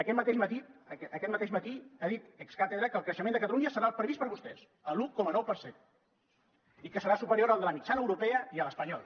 aquest mateix matí aquest mateix matí ha dit ex cathedra que el creixement de catalunya serà el previst per vostès l’un coma nou per cent i que serà superior al de la mitjana europea i a l’espanyol